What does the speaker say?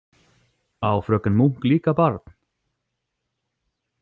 Á fröken Munk líka barn?